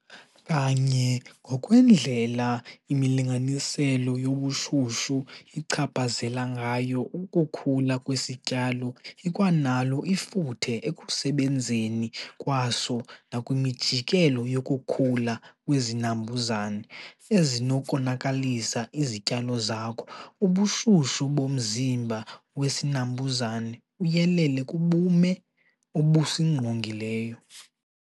Kanye ngokwendlela imilinganiselo yobushushu ichaphazela ngayo ukukhula kwesityalo ikwanalo ifuthe ekusebenzeni kwaso nakwimijikelo yokukhula kwezinambuzane ezinokonakalisa izityalo zakho. Ubushushu bomzimba wesinambuzane uyelele kubume obusingqongileyo.